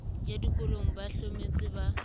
ya dikolong ba hlometse ba